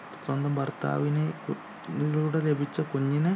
ഏർ സ്വന്തം ഭർത്താവിനെ ലൂടെ ലഭിച്ച കുഞ്ഞിനെ